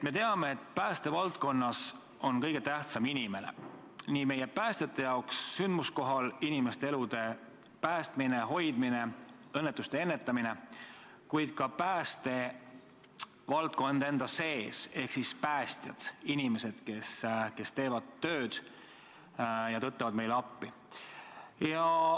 Me teame, et päästevaldkonnas on kõige tähtsam inimene, st sündmuskohal inimeste elude päästmine, hoidmine, õnnetuste ennetamine, kuid ka päästjad ise ehk inimesed, kes teevad oma tööd ja tõttavad meile appi.